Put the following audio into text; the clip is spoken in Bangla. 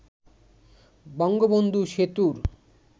বঙ্গবন্ধু সেতুর